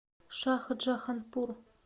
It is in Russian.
шахджаханпур